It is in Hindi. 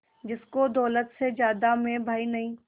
जिसको दौलत से ज्यादा मैं भाई नहीं